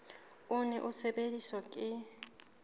o ne o sebediswa ke